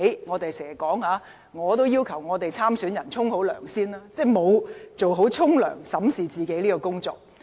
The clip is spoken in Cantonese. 我們經常要求參選人先"沖涼"，即做好審視自己的工作。